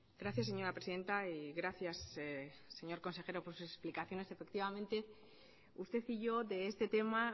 gracias señora presidenta y gracias al señor consejero por sus explicaciones efectivamente usted y yo de este tema